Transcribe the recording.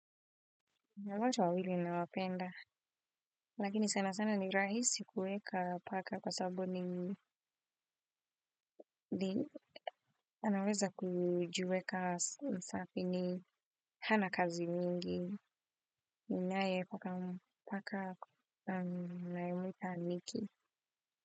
Ni wote wawili nawapenda, lakini sana sana ni rahisi kuweka paka kwa sababu ni anaweza kujiweka msafi ni, hana kazi mingi, ninaye paka nayemwita Niki.